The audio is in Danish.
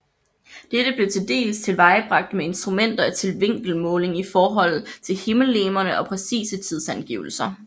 Dette blev tildels tilvejebragt med instrumenter til vinkelmåling i forhold til himmellegemerne og præcise tidsangivelser